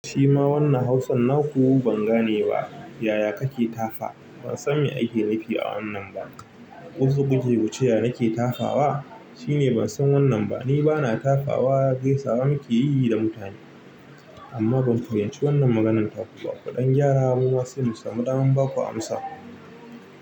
Shima wannan Hausan naku ban gane ba, yaya kake tafa? Ban san me ake nufi a wannan ba. Ko so kuke kuce ya nake tafawa? Shine ban san wannan ba. Ni bana tafawa, gaisawa nike yi da mutane. Amma ban fahimci wannan maganar taku ba. Kuɗan gyara muma sai mu samu, damar baku amsa.